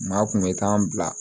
Maa kun bɛ taa an bila